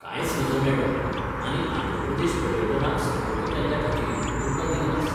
कांयच नज मॅडम आनी आंध्र प्रदेश पर्यटनाक संपर्क केल्ल्याखातीर तुमकां दीनवास.